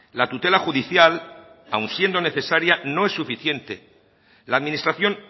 la tutela judicial aun siendo necesaria no es suficiente la administración